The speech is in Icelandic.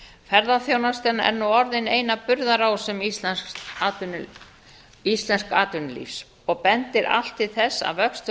ferðaþjónustan er nú orðin ein af burðarásum íslensks atvinnulífs og bendir allt til þess að vöxtur